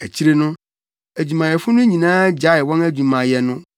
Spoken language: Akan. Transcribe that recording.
Akyiri no, adwumayɛfo no nyinaa gyaee wɔn adwumayɛ no